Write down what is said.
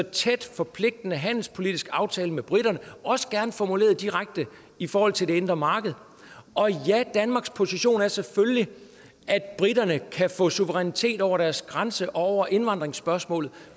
tæt og forpligtende handelspolitisk aftale med briterne også gerne formuleret direkte i forhold til det indre marked og ja danmarks position er selvfølgelig at briterne kan få suverænitet over deres grænse og over indvandringspørgsmål